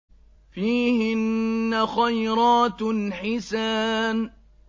فِيهِنَّ خَيْرَاتٌ حِسَانٌ